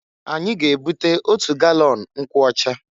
Anyi ga-ebute otu galọn nkwụọcha.